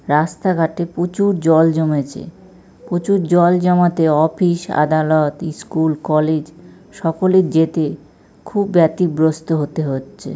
রাস্তাঘাটে প্রচুর জল জমেছে প্রচুর জল জমাতে অফিস আদালত স্কুল কলেজ সকলের যেতে খুব ব্যতিগ্রস্ত হতে হচ্ছে।